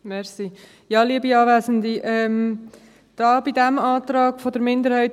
Kommissionssprecherin der JuKo-Minderheit.